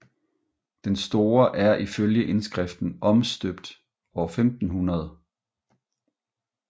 Den store er ifølge indskriften omstøbt år 1500